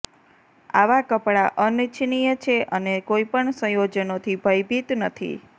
આવાં કપડાં અનિચ્છનીય છે અને કોઈપણ સંયોજનોથી ભયભીત નથી